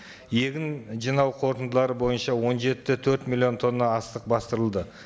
егін жинау қорытындылары бойынша он жеті де төрт миллион тонна астық бастырылды